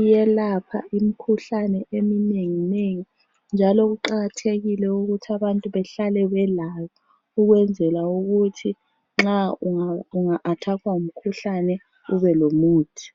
iyelapha imikhuhlane eminenginengi njalo kuqakathekile ukuthi abantu behlale belayo ukwenzela ukuthi nxa unga athakhwa ngumkhuhlane ube lomuthi.